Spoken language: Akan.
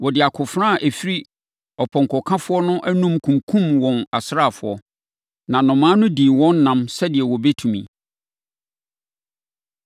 Wɔde akofena a ɛfiri ɔpɔnkɔkafoɔ no anom kunkumm wɔn asraafoɔ, na nnomaa no dii wɔn nam sɛdeɛ wɔbɛtumi.